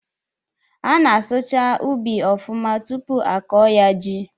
A na-asụcha ụbị ọfụma tụpụ a kọọ ya ji